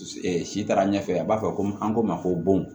si taara ɲɛfɛ a b'a fɔ ko an k'o ma ko bon